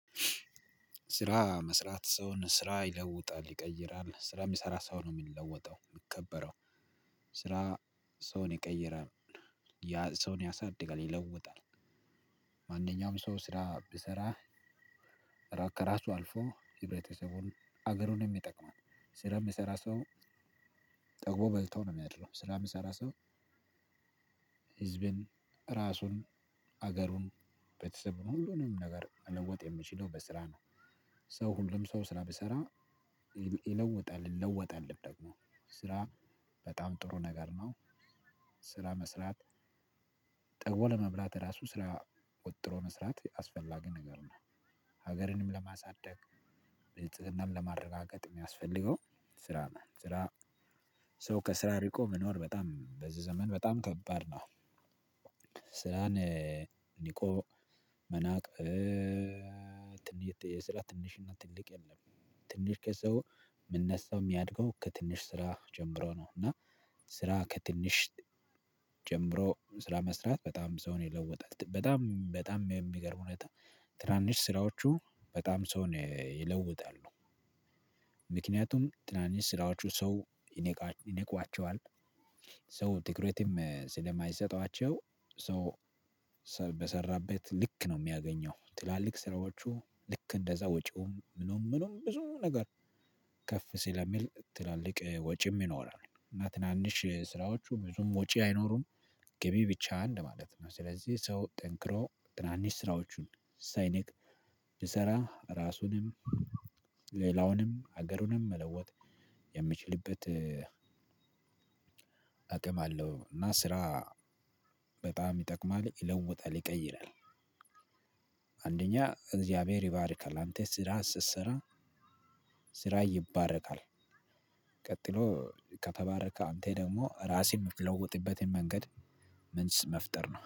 ስራ መስራት ሰውን ስራ ይለውጣል ይቀይራል። ስራ የሚሰራ ሰው ነው የሚለወጠው የሚከበረው። ስራ ሰውን ይቀይራል ያ ሰውን ያሳድጋል ይለውጣል። ማንኛውም ሰው ስራ ቢሰራ ከራሱ አልፎ ህብረተሰቡን አገሩንም ይጠቅማል። ስራ የሚሰራ ሰው ጠግቦ በልቶ ነው የሚያድረው። ስራ የሚሰራ ሰው ህዝብን፣ ራሱን፣ ሀገሩን፣ ቤተሰቡን ሁሉንም ነገር መለወጥ የሚችለው በስራ ነው። ሰው ሁሉም ሰው ስራ ቢሰራ ይለውጣል ይለወጣልም ደግሞ ስራ በጣም ጥሩ ነገር ነው። ስራ መስራት ጠግቦ ለመብላት ራሱ ስራ ወጥሮ መስራት አስፈላጊ ነገር ነው። ሀገርንም ለማሳደግ ብልጽግናን ለማረጋገጥ የሚያስፈልገው ስራ ነው። ስራ ሰው ከስራ ርቆ መኖር በጣም በዚህ ዘመን በጣም ከባድ ነው። ስራን ኒቆ መናቅ ትን የስራ ትንሽ እና ትልቅ የለም። ትንሽ ከሰው የምነሳው የሚያድገው ከትንሽ ስራ ጀምሮ ነው፤ እና ስራ ከትንሽ ጀምሮ ስራ መስራት በጣም ሰውን ይለውጣል። በጣም በጣም በሚገርም ሁኔታ ትናንሽ ስራዎቹ በጣም ሰውን ይለውጣሉ። ምክንያቱም ትናንሽ ስራዎቹ ሰው ይንቃ ይነቋቸዋል። ሰው ትኩረትም ስለማይሰጧቸው ሰው ሰ በሰራበት ልክ ነው የሚያገኘው። ትላልቅ ስራዎቹ ልክ እንደዛ ወጪውም ምኑም ምኑም ብዙ ነገር ከፍ ሲለሚል ትላልቅ ወጪም ይኖራል፤ እና ትናንሽ ስራዎቹ ብዙም ወጪ አይኖሩም፤ ገቢ ብቻ እንደማለት ነው። ስለዚህ ሰው ጠንክሮ ትናንሽ ስራዎቹን ሳይንቅ ቢሰራ እራሱንም ሌላውንም ሀገሩንም መለወጥ የሚችልበት አቅም አለው፤ እና ስራ በጣም ይጠቅማል ይለውጣል ይቀይራል። አንደኛ እግዚአብሔር ይባርካል አንተ ስራ ስትሰራ ስራህ ይባረካል። ቀጥሎ ከተባረከ አንተ ደግሞ ራስን የምትለውጥበትን መንገድ መፍጠር ነው።